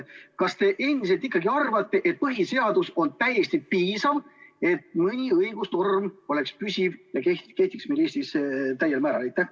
Kas te endiselt ikkagi arvate, et põhiseadus on täiesti piisav, et mõni õigusnorm oleks püsiv ja kehtiks meil täiel määral?